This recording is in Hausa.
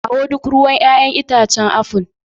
Kawo duk ruwan 'ya'yan itacen apple.